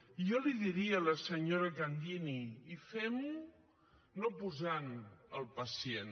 i jo li diria a la senyora candini i fem ho no posant el pacient